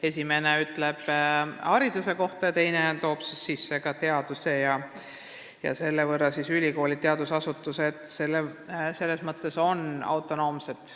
Esimene räägib haridusest ja teine toob sisse ka teaduse, ülikoolid ja teadusasutused on selles mõttes autonoomsed.